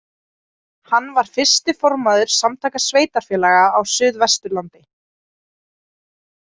Hann var fyrsti formaður Samtaka sveitarfélaga á Suðvesturlandi.